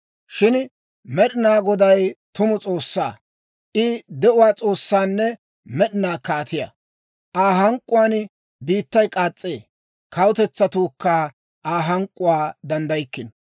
Shin Med'inaa Goday tumu S'oossaa; I de'uwaa S'oossaanne med'inaa Kaatiyaa. Aa hank'k'uwaan biittay k'aas's'ee; kawutetsatuukka Aa hank'k'uwaa danddaykkino.